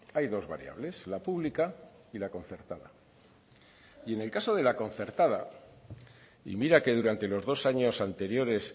hay dos variables la pública y la concertada y en el caso de la concertada y mira que durante los dos años anteriores